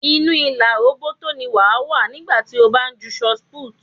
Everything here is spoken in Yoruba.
Inú ìlà róbótó ni wàá wà nígbà tí ó bá ń ju ṣọt púùtù.